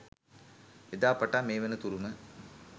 එදා පටන් මේ වන තුරුම